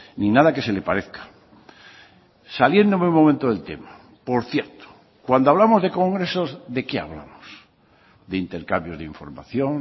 ni nada que se le parezca saliéndome un momento del tema por cierto cuando hablamos de congresos de qué hablamos de intercambios de información